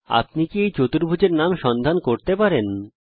আপনি কি এই চতুর্ভুজের নাম সন্ধান করতে পারবেন160